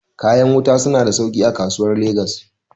kayan wuta suna da sauki a kasuwar legas